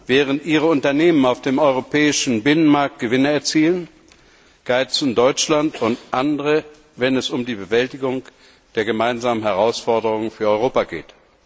Während ihre Unternehmen auf dem europäischen Binnenmarkt Gewinne erzielen, geizen Deutschland und andere, wenn es um die Bewältigung der gemeinsamen Herausforderungen für Europa geht.